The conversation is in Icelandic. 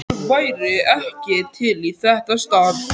Hver væri ekki til í þetta starf?